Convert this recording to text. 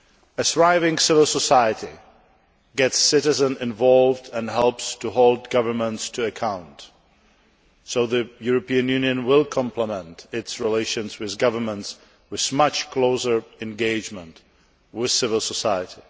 A thriving civil society gets citizens involved and helps to hold governments to account, so the European Union will complement its relations with governments with much closer engagement with civil society.